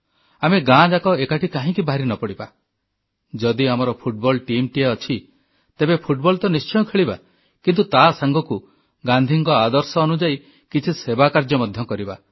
ଆମେ ଗାଁ ଯାକ ଏକାଠି କାହିଁକି ବାହାରି ନ ପଡ଼ିବା ଯଦି ଆମର ଫୁଟବଲ୍ ଟିମ୍ ଟିଏ ଅଛି ତେବେ ଫୁଟବଲ୍ ତ ନିଶ୍ଚୟ ଖେଳିବା କିନ୍ତୁ ତା ସାଙ୍ଗକୁ ଗାନ୍ଧୀଙ୍କ ଆଦର୍ଶ ଅନୁଯାୟୀ କିଛି ସେବା କାର୍ଯ୍ୟ ମଧ୍ୟ କରିବା